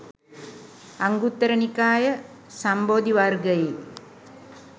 අංගුත්තර නිකාය, සම්බෝධි වර්ගයේ